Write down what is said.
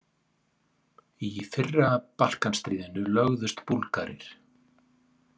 Í fyrra Balkanstríðinu lögðust Búlgarir.